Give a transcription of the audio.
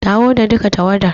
Dawo da duka tawwadar.